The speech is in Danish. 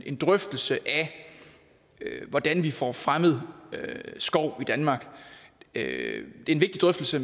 en drøftelse af hvordan vi får fremmet skov i danmark er en vigtig drøftelse